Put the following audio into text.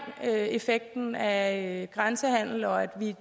effekten af grænsehandelen og at